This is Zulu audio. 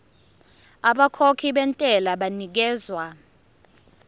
abakhokhi bentela banikezwa